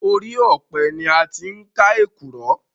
Orí ọpẹ ni a tí ń ká èkùrọ́